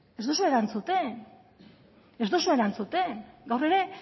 ez duzu erantzuten ez duzu erantzuten gaur ere